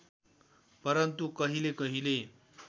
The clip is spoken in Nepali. परन्तु कहिले कहिले